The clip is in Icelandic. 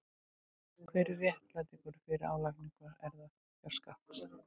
Hver er réttlætingin fyrir álagningu erfðafjárskatts?